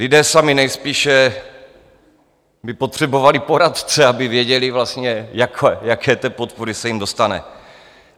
Lidé sami nejspíše by potřebovali poradce, aby věděli vlastně, jaké té podpory se jim dostane.